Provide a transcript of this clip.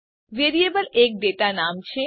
variable એક data નામ છે